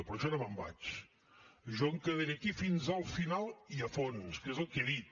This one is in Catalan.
però jo no me’n vaig jo em quedaré aquí fins al final i a fons que és el que he dit